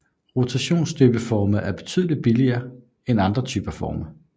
Rotationsstøbeforme er betydeligt billigere end andre typer af forme